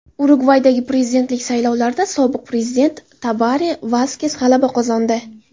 Urugvaydagi prezidentlik saylovlarida sobiq prezident Tabare Vaskes g‘alaba qozondi.